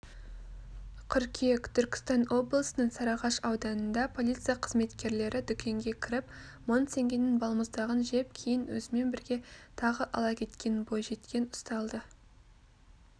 қыркүйек түркістан облысының сарыағаш ауданында полиция қызметкерлері дүкенге кіріп мың теңгенің балмұздағын жеп кейін өзімен бірге тағы ала кеткен бойжеткен ұсталды